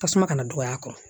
Tasuma kana dɔgɔya a kɔrɔ